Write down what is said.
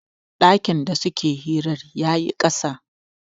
dakin da suke hirar ya yi kasan